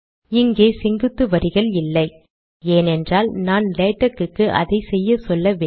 இங்கே செங்குத்து வரிகள் இல்லை ஏனென்றால் நான் லேடக்குக்கு அதை செய்யச் சொல்லவில்லை